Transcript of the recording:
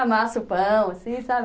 Amassa o pão, assim, sabe?